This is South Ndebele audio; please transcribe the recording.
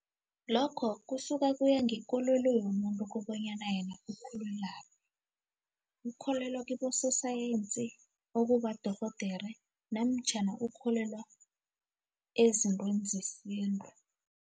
Lokho kusuke kuya ngekolelo yomuntu kobanyana yena ukholelwaphi ukholelwa kibososayensi okuba udorhodere namtjhana ukholelwa ezintweni zesintu.